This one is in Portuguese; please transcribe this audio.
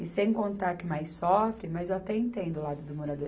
E sem contar que mais sofrem, mas eu até entendo o lado do morador.